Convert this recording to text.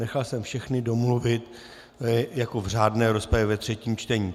Nechal jsem všechny domluvit jako v řádné rozpravě ve třetím čtení.